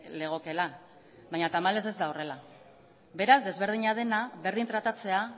legokeela baina tamalez ez da horrela beraz desberdina dena berdin tratatzea